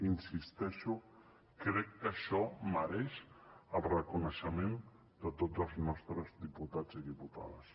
hi insisteixo crec que això mereix el reconeixement de tots els nostres diputats i diputades